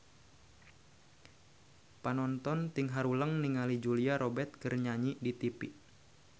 Panonton ting haruleng ningali Julia Robert keur nyanyi di tipi